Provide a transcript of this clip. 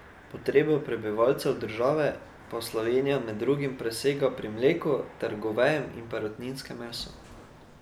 Potrebe prebivalcev države pa Slovenija med drugim presega pri mleku ter govejem in perutninskem mesu.